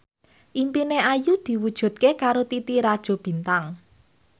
impine Ayu diwujudke karo Titi Rajo Bintang